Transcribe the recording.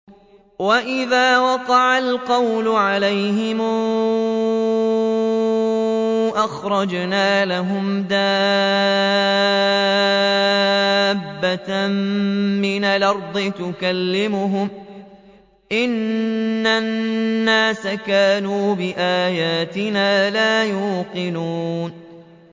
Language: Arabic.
۞ وَإِذَا وَقَعَ الْقَوْلُ عَلَيْهِمْ أَخْرَجْنَا لَهُمْ دَابَّةً مِّنَ الْأَرْضِ تُكَلِّمُهُمْ أَنَّ النَّاسَ كَانُوا بِآيَاتِنَا لَا يُوقِنُونَ